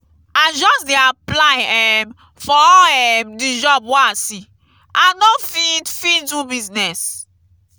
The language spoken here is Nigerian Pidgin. i just dey apply um for all um di job wey i see i no fit fit do business.